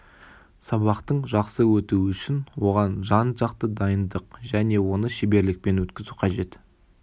сабақтың жақсы өтуі үшін оған жан-жақты дайындық және оны шеберлікпен өткізу қажет